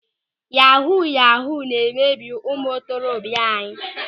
Yahuu yahuu na-emebi ụmụ ntorobịa anyị.